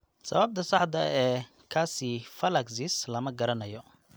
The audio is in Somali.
Sababta saxda ah ee calciphylaxis lama garanayo.